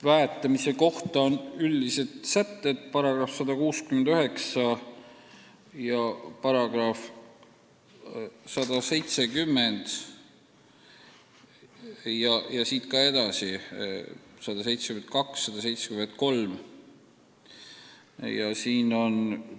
Väetamise kohta on üldised sätted § 169 ja § 170 ja ka edasi §-d 171, 172, 173.